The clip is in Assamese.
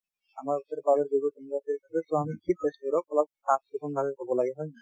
আমাৰ ওচৰে পাজৰে যিবোৰ চাফ চিকুণ ভাবে থব লাগে হয় নে নহয়